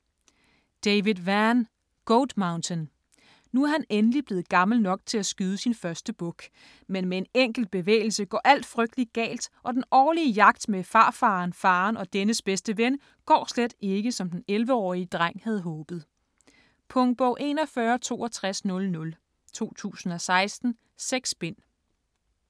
Vann, David: Goat Mountain Nu er han endelig blevet gammel nok til at skyde sin første buk, men med en enkelt bevægelse går alt frygtelig galt, og den årlige jagt med farfaren, faren og dennes bedste ven går slet ikke, som den 11-årige dreng havde håbet. Punktbog 416200 2016. 6 bind.